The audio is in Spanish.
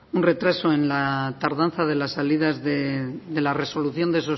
un retraso en la tardanza de las salidas de la resolución de